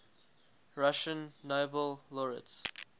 russian nobel laureates